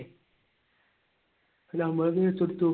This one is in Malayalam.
നമ്മൾ case കൊടുത്തു.